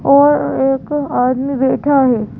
और एक आदमी बैठा है।